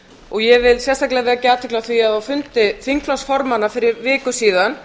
og ég vil sérstaklega vekja athygli á því að á fundi þingflokksformanna fyrir viku síðan